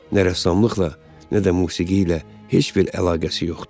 nə rəssamlıqla, nə də musiqi ilə heç bir əlaqəsi yoxdur.